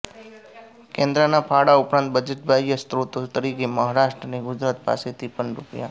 કેન્દ્રના ફાળા ઉપરાંત બજેટ બાહ્ય સ્ત્રોતો તરીકે મહારાષ્ટ્ર અને ગુજરાત પાસેથી પણ રૂ